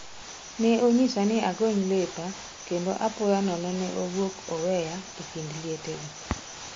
Ne onyisa ni agony lepa kendo apoya nono ne owuok oweya e kind lietego.